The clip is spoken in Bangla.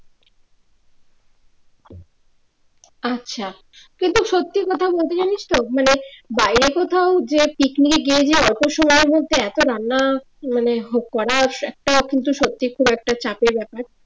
আচ্ছা কিন্তু সত্যি কথা বলতে জানিস তো মানে বাইরে কোথাও যেয়ে পিকনিকে গিয়ে যে এতো সময়ের মধ্যে এতো রান্না মানে করার একটা কিন্তু সত্যি একটা চাপের ব্যাপার